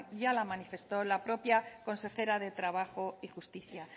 ya la manifestó la propia consejera de trabajo y justicia